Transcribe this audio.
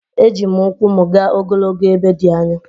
Eji m ụkwụ m gaa ogologo ebe dị anya